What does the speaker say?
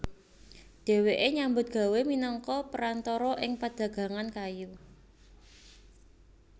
Dhèwèké nyambut gawé minangka perantara ing padagangan kayu